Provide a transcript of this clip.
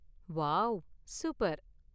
Wow, super!